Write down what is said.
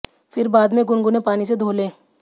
फिर बाद में गुनगुने पानी से धो लें